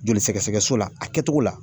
Joli sɛgɛsɛgɛso la, a tɛ togo la